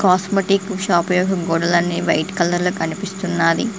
Cosmetic shop యొక్క గోడలన్నీ white colour లో కనిపిస్తున్నాది.